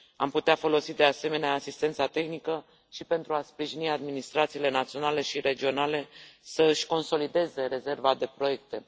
Am putea folosi, de asemenea, asistența tehnică și pentru a sprijini administrațiile naționale și regionale să își consolideze rezerva de proiecte.